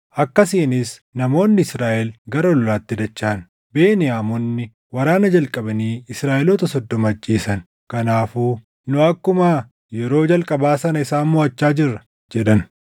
akkasiinis namoonni Israaʼel gara lolaatti dachaʼan. Beniyaamonni waraana jalqabanii Israaʼeloota soddoma ajjeesan; kanaafuu, “Nu akkuma yeroo jalqabaa sana isaan moʼachaa jirra” jedhan.